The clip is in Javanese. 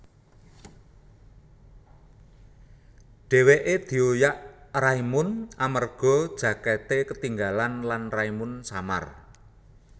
Dhèwèké dioyak Raimund amerga jakèté ketinggalan lan Raimund samar